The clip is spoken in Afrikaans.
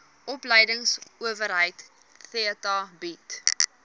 opleidingsowerheid theta bied